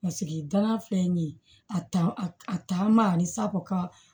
Paseke danaya filɛ nin ye a ta a taama ani sako ka